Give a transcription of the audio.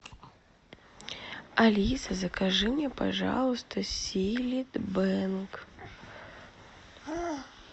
алиса закажи мне пожалуйста силит бэнк